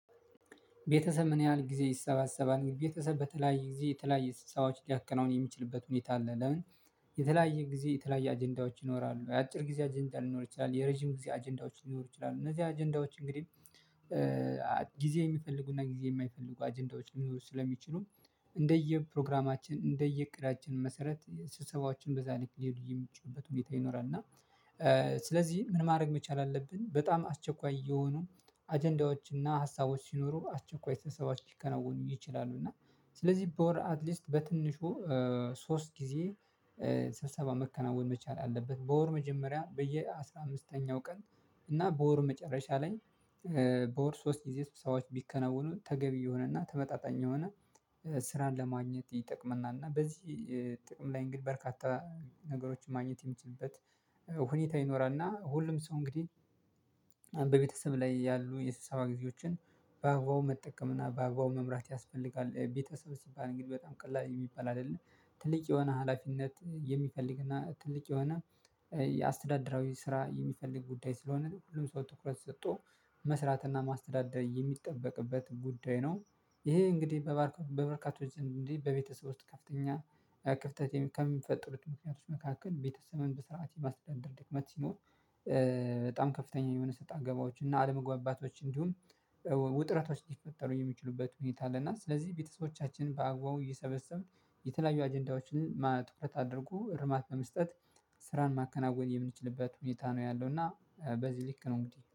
ቤተሰብ ምን ያህል ጊዜ ይሰበሰባል? ቤተሰብ በተለያየ ጊዜ የተለያየ ስብሰባዎች ሊያከናውን የሚችልበት ሁኔታ አለ። ለምን? የተለያየ ጊዜ የተለያየ አጀንዳዎች ይኖራሉ። የአጭር ጊዜ አጀንዳ ሊኖር ይችላል የረጅም ጊዜ አጀንዳዎች ሊኖሩ ይችላሉ። እነዚህ አጀንዳዎች እንግዲህ ጊዜ የሚፈልጉና ጊዜ የማይፈልጉ አጀንዳዎች ሊኖሩ ስለሚችሉ እንደየ ፕሮግራማችን እንደየ እቅዳችን መሰረት ስብሰባችን በዛ ልክ ሊሄድ የሚችሉበት ሁኔታ ይኖራል። እና ስለዚህ ምን ማድረግ መቻል አለብን። በጣም አስቸኳይ የሆኑ አጀንዳዎች እና ሀሳቦች ሲኖሩ አስቸኳይ ስብሰባ ሊከናወኑ ይችላሉ። እና ስለዚህ በወር አትሊስት በትንሹ ሶስት ጊዜ ስብሰባ መከናወን መቻል አለበት። በወር መጀመሪያ በየአሥራ አምስተኛው ቀን እና በወር መጨረሻ ላይ በወር ሶስት ጊዜ ስብሰባዎች ቢከናወኑ ተገቢ የሆነና ተመጣጣኝ የሆነ ስራን ለማግኘት ይጠቅመናል። እና በዚህ ጥቅም ላይ እንግዲህ በርካታ ነገሮችን ማግኘት የሚችልበት ሁኔታ ይኖራል። እና ሁሉም ሰው እንግዲህ በቤተሰብ ላይ ያሉ የስብሰባ ጊዜዎችን በአግባቡ መጠቀምና በአግባቡ መምራት ያስፈልጋል። ቤተሰብ ሲባል እንግዲህ በጣም ቀላል የሚባል አይደለም ትልቅ የሆነ ሀላፊነት የሚፈልግና ትልቅ የሆነ የአስተዳደራዊ ስራ የሚፈልግ ጉዳይ ስለሆነ ሁሉም ሰው ትኩረት ሰጦ መስራትና ማስተዳደር የሚጠበቅበት ጉዳይ ነው። ይሄ እንግዲህ በበርካቶች እንግዲህ በቤተሰብ ውስጥ ከፍተኛ ክፍተት ከሚፈጠሩት ምክንያቶች መካከል ቤተሰብም በስርዓት የማስደንደር ድክመት ሲሞር። በጣም ከፍተኛ የሆነ ሰጣ ገባዎች እና አለመግባባቶች እንዲሁም ውጥረቶች እንዲፈጠሩ የሚችሉበት ሁኔታ አለና። ስለዚህ ቤተሰቦቻችን በአግባቡ እየሰበሰቡን የተለያዩ አጀንዳዎችን ትኩረት አድርጉ እርማት በመስጠት ስራን ማከናወን የምንችልበት ሁኔታ ነው ያለው። እና በዚህ ልክ ነው እንግዲህ